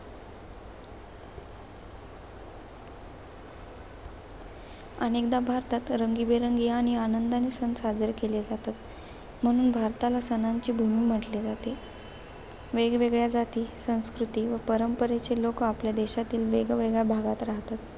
अनेकदा भारतात रंगीबेरंगी आणि आनंदाने सण साजरे केले जातात. म्हणून भारताला सणांची भूमी म्हटले जाते. वेगवेगळ्या जाती, संस्कृती आणि परंपरेचे लोकं, आपल्या देशातील वेगवेगळ्या भागात राहतात.